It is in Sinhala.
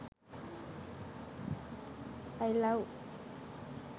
i love